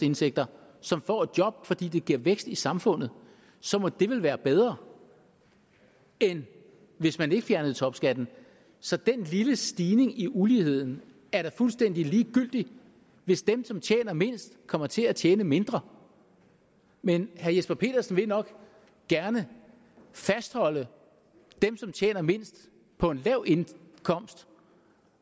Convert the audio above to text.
indtægter som får et job fordi det giver vækst i samfundet så må det vel være bedre end hvis man ikke fjernede topskatten så den lille stigning i uligheden er da fuldstændig ligegyldig hvis dem som tjener mindst kommer til at tjene mindre men herre jesper petersen vil nok gerne fastholde dem som tjener mindst på en lav indkomst